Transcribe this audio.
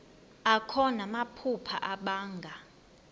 akho namaphupha abanga